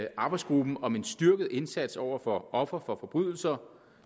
arbejdsgruppen om en styrket indsats over for ofre for forbrydelser